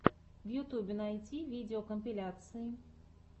в ютубе найти видеокомпиляции